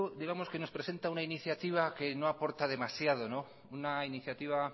nos presenta una iniciativa que no aporta demasiado una iniciativa